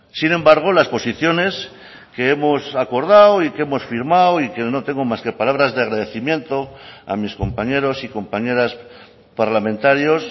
sin embargo las posiciones que hemos acordado y que hemos firmado y que no tengo más que palabras de agradecimiento a mis compañeros y compañeras parlamentarios